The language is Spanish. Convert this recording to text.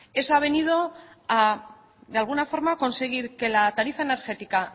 eso ha venido a de alguna forma conseguir que la tarifa energética